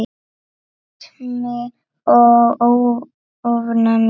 Astmi og ofnæmi